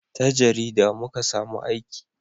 ta jarida muka samu aiki